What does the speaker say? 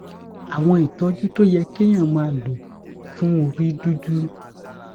àwọn ìtójú tó yẹ kéèyàn máa lò fún orí dúdú